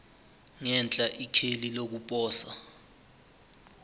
ngenhla ikheli lokuposa